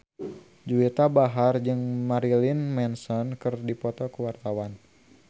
Juwita Bahar jeung Marilyn Manson keur dipoto ku wartawan